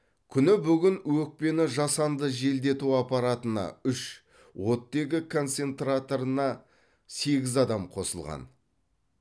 күні бүгін өкпені жасанды желдету аппаратына үш оттегі концентраторына сегіз адам қосылған